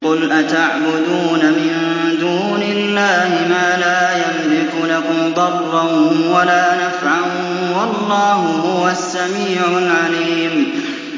قُلْ أَتَعْبُدُونَ مِن دُونِ اللَّهِ مَا لَا يَمْلِكُ لَكُمْ ضَرًّا وَلَا نَفْعًا ۚ وَاللَّهُ هُوَ السَّمِيعُ الْعَلِيمُ